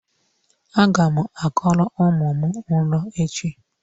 Aga m akọrọ ụmụ m ịlụ echi.